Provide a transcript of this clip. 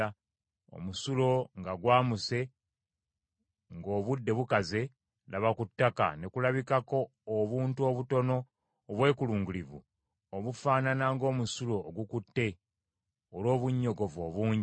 Omusulo nga gwamuse ng’obudde bukaze, laba, ku ttaka ne kulabikako obuntu obutono obwekulungirivu obufaanana ng’omusulo ogukutte olw’obunnyogovu obungi.